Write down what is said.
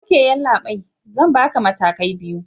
Ok yallabai, Zan Barka matakai biyu